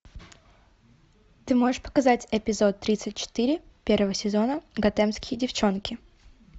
ты можешь показать эпизод тридцать четыре первого сезона готэмские девчонки